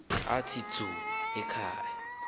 athi dzu ekhaya